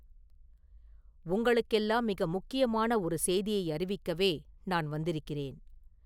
“உங்களுக்கெல்லாம் மிக முக்கியமான ஒரு செய்தியை அறிவிக்கவே நான் வந்திருக்கிறேன்.